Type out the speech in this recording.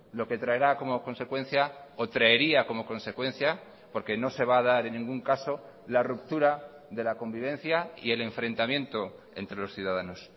lo que traerá como consecuencia o traería como consecuencia porque no se va a dar en ningún caso la ruptura de la convivencia y el enfrentamiento entre los ciudadanos